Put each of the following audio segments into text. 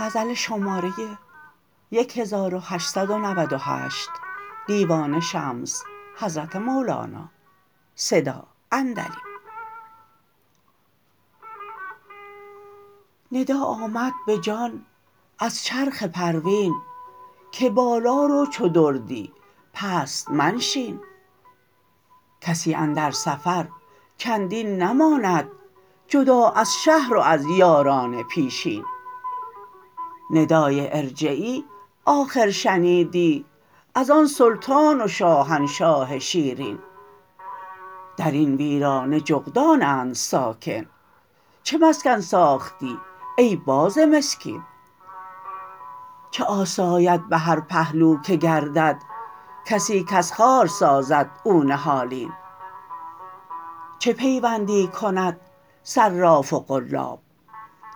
ندا آمد به جان از چرخ پروین که بالا رو چو دردی پست منشین کسی اندر سفر چندین نماند جدا از شهر و از یاران پیشین ندای ارجعی آخر شنیدی از آن سلطان و شاهنشاه شیرین در این ویرانه جغدانند ساکن چه مسکن ساختی ای باز مسکین چه آساید به هر پهلو که گردد کسی کز خار سازد او نهالین چه پیوندی کند صراف و قلاب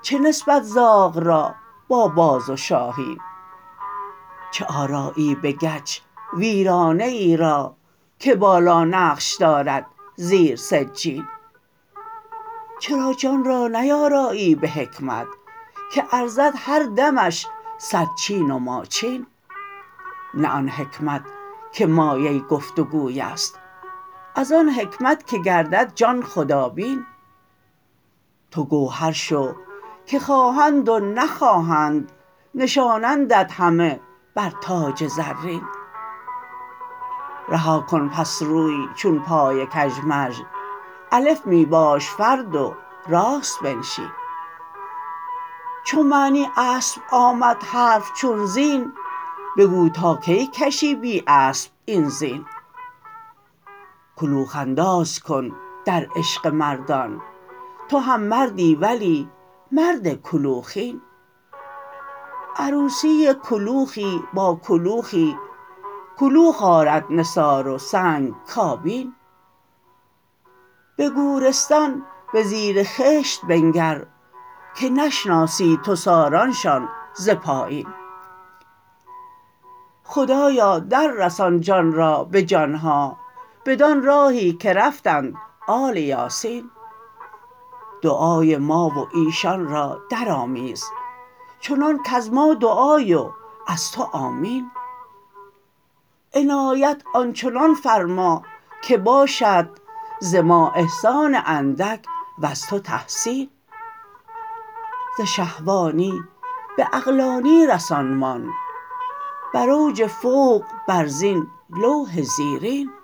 چه نسبت زاغ را با باز و شاهین چه آرایی به گچ ویرانه ای را که بالا نقش دارد زیر سجین چرا جان را نیارایی به حکمت که ارزد هر دمش صد چین و ماچین نه آن حکمت که مایه گفت و گوی است از آن حکمت که گردد جان خدابین تو گوهر شو که خواهند و نخواهند نشانندت همه بر تاج زرین رها کن پس روی چون پای کژمژ الف می باش فرد و راست بنشین چو معنی اسب آمد حرف چون زین بگو تا کی کشی بی اسب این زین کلوخ انداز کن در عشق مردان تو هم مردی ولی مرد کلوخین عروسی کلوخی با کلوخی کلوخ آرد نثار و سنگ کابین به گورستان به زیر خشت بنگر که نشناسی تو سارانشان ز پایین خدایا دررسان جان را به جان ها بدان راهی که رفتند آل یاسین دعای ما و ایشان را درآمیز چنان کز ما دعای و از تو آمین عنایت آن چنان فرما که باشد ز ما احسان اندک وز تو تحسین ز شهوانی به عقلانی رسانمان بر اوج فوق بر زین لوح زیرین